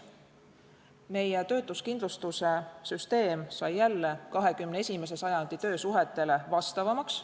Meie töötuskindlustuse süsteem sai jälle 21. sajandi töösuhetele vastavamaks.